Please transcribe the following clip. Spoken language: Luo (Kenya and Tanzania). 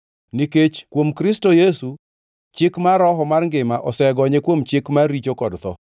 nikech kuom Kristo Yesu Chik mar Roho mar ngima osegonye kuom Chik mar richo kod tho.